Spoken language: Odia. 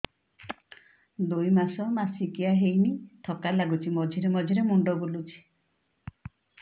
ଦୁଇ ମାସ ମାସିକିଆ ହେଇନି ଥକା ଲାଗୁଚି ମଝିରେ ମଝିରେ ମୁଣ୍ଡ ବୁଲୁଛି